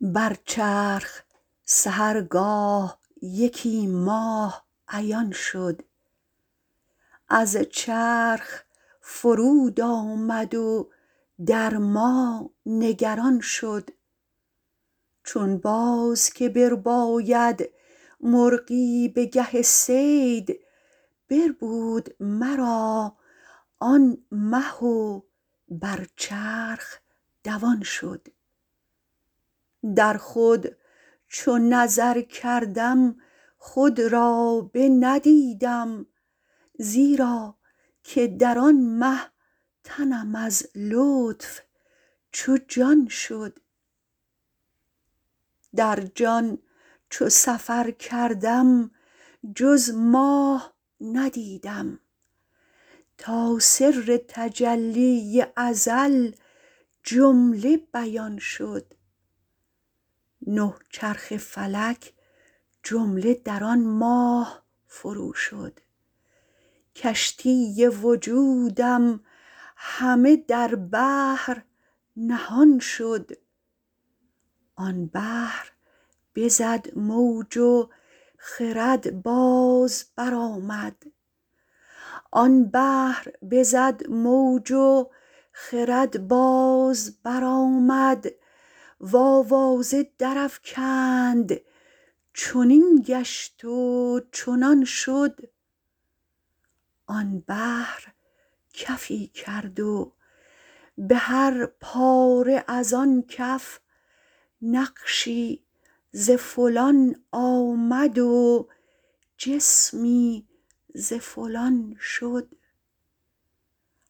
بر چرخ سحرگاه یکی ماه عیان شد از چرخ فرود آمد و در ما نگران شد چون باز که برباید مرغی به گه صید بربود مرا آن مه و بر چرخ دوان شد در خود چو نظر کردم خود را بندیدم زیرا که در آن مه تنم از لطف چو جان شد در جان چو سفر کردم جز ماه ندیدم تا سر تجلی ازل جمله بیان شد نه چرخ فلک جمله در آن ماه فروشد کشتی وجودم همه در بحر نهان شد آن بحر بزد موج و خرد باز برآمد و آوازه درافکند چنین گشت و چنان شد آن بحر کفی کرد و به هر پاره از آن کف نقشی ز فلان آمد و جسمی ز فلان شد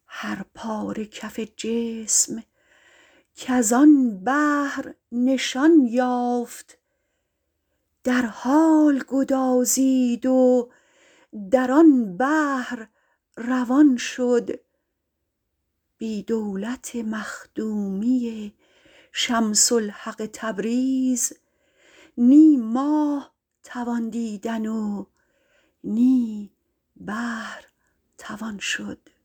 هر پاره کف جسم کز آن بحر نشان یافت در حال گدازید و در آن بحر روان شد بی دولت مخدومی شمس الحق تبریز نی ماه توان دیدن و نی بحر توان شد